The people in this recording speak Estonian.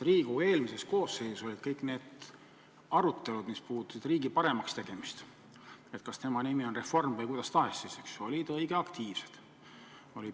Riigikogu eelmises koosseisus kõik need arutelud, mis puudutasid riigi paremaks tegemist, olgu selle nimi reform või kuidas tahes, olid õige aktiivsed.